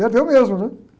Perdeu mesmo, né?